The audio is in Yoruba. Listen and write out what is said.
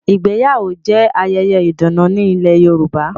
Ìgbéyàwó jẹ ayẹyẹ ìdùnnú ni ilẹ̀ Yorùbá.